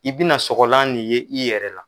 I bi na sɔgɔlan nin ye i yɛrɛ la